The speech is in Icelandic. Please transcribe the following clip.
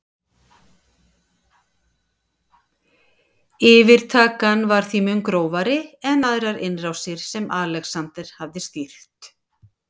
Yfirtakan var því mun grófari en aðrar innrásir sem Alexander hafði stýrt.